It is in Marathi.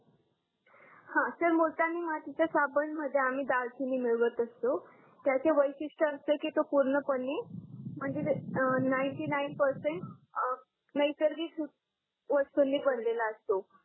हा सर मुलतानी मातीच्या साबण मध्ये आम्ही दालचीनी मिळवत असतो त्याचे वैशिष्टे असे की तो पूर्ण पणे म्हणजे नाइंटी नाइन परसेंट अं नैसर्गिक वस्तूंनी बनलेला असतो